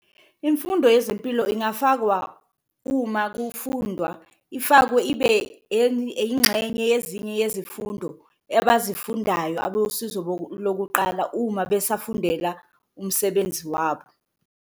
Imfundo yezimpilo ingafakwa uma kufundwa, ifakwe ibe ingxenye yezinye yezifundo abazifundayo abosizo lokuqala, uma besafundela umsebenzi wabo.